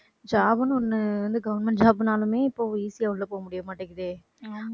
job ன்னு ஒண்ணு வந்து government job னாலுமே இப்ப easy யா உள்ள போக முடிய மாட்டேங்குதே.